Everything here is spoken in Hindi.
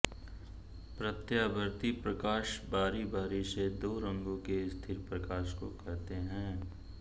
प्रत्यावर्ती प्रकाश बारी बारी से दो रंगों के स्थिर प्रकाश को कहते हैं